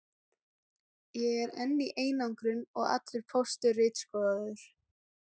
Ég er enn í einangrun og allur póstur ritskoðaður.